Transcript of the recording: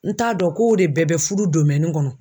N t'a dɔn ko de bɛɛ bɛ fudu kɔnɔ.